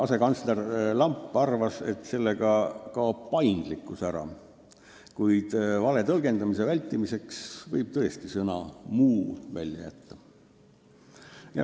Asekantsler Lamp arvas, et sellega kaob ära paindlikkus, kuid vale tõlgendamise vältimiseks võib tõesti sõna "muu" välja jätta.